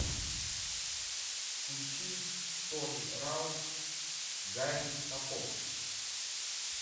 включи тони раут гарри топор